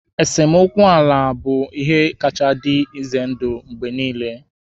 Esemokwu ala ga-abụ ihe kacha dị ize ndụ mgbe niile